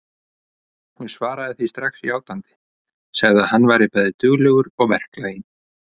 Hún svaraði því strax játandi, sagði að hann væri bæði duglegur og verklaginn.